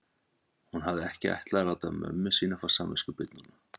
Hún hafði ekki ætlað að láta mömmu sína fá samviskubit núna.